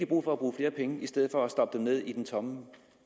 brug for at bruge flere penge i stedet for at stoppe dem ned i den tomme